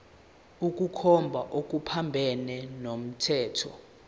ukukhomba okuphambene nomthetho